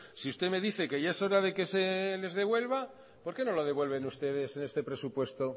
si usted me dice que ya es hora de que se les devuelva por qué no lo devuelven usted en este presupuesto